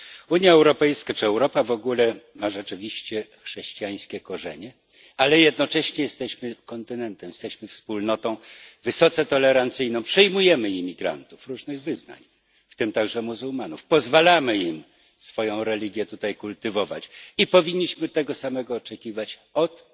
Unia Europejska, czy Europa w ogóle, ma rzeczywiście chrześcijańskie korzenie, ale jednocześnie jesteśmy kontynentem, jesteśmy wspólnotą wysoce tolerancyjną przyjmujemy imigrantów różnych wyznań, w tym także muzułmanów, pozwalamy im swoją religię tutaj kultywować, i powinniśmy tego samego oczekiwać od